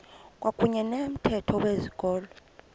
kwakuyne nomthetho wezikolo